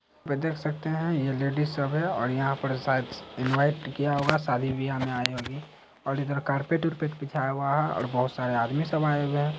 देख सकते है ये लेडिज सब है और यहां पे इन्वाईट किया हुआ है शादी बिहा में आई होगी और यहाँ कारपेट बार्पेट बिछा हुआ है और बहुत सारे आदमी सब आए हुए हैं ।